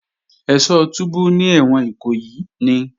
Ẹ́ṣọ́ túbú ní ẹ̀wọ̀n Ìkòyí ni